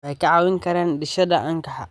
Waxay kaa caawin karaan dhisidda anshaxa.